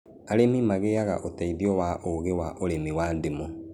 Arĩmi magĩaga ũteithio wa ũũgĩ wa ũrĩmi wa ndimũ